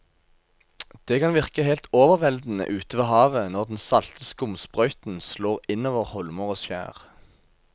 Det kan virke helt overveldende ute ved havet når den salte skumsprøyten slår innover holmer og skjær.